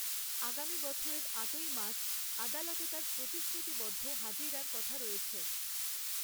আগামী বছরের আটই মার্চ আদালতে তার প্রতিশ্রুতিবদ্ধ হাজিরার কথা রয়েছে।